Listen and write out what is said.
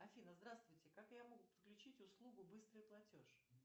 афина здравствуйте как я могу подключить услугу быстрый платеж